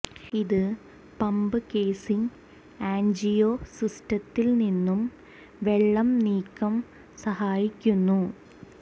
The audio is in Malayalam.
ഇത് പമ്പ് കേസിംഗ് ആന്ജിയോ സിസ്റ്റത്തിൽ നിന്നും വെള്ളം നീക്കം സഹായിക്കുന്നു